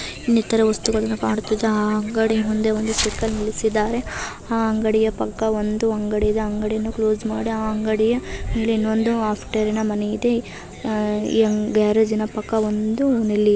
ಇನ್ನಿತರ ವಸ್ತುಗಳನ್ನು ಕಾಣುತ್ತಿದೆ ಆ ಅಂಗಡಿ ಮುಂದೆ ಒಂದು ಸೈಕಲ್ ನಿಲ್ಲಿಸಿದ್ದಾರೆ ಆ ಅಂಗಡಿಯ ಪಕ್ಕ ಒಂದು ಅಂಗಡಿ ಇದೆ ಆ ಅಂಗಡಿಯನ್ನು ಕ್ಲೋಸ್ ಮಾಡಿ ಆ ಅಂಗಡಿಯ ಮೇಲೆ ಇನ್ನೊಂದು ಆಫ್ಟರಿನ ಮನೆ ಇದೆ ಅಹ್ ಗ್ಯಾರೇಜಿನ ಪಕ್ಕ ಒಂದು ನೆಲ್ಲಿಯಿದೆ.